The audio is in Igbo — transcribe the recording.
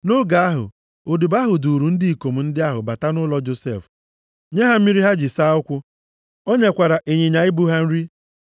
Nʼoge ahụ, odibo ahụ duuru ndị ikom ndị ahụ bata nʼụlọ Josef, nye ha mmiri ha ji saa ụkwụ ha. O nyekwara ịnyịnya ibu ha nri.